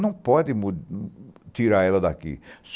Não pode mu tirar ela daqui.